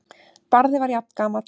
Barði var jafngamall